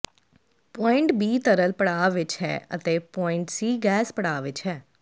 point B ਤਰਲ ਪੜਾਅ ਵਿੱਚ ਹੈ ਅਤੇ ਪੌਇੰਟ ਸੀ ਗੈਸ ਪੜਾਅ ਵਿੱਚ ਹੈ